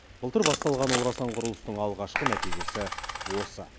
былтыр басталған орасан құрылыстың алғашқы нәтижесі осы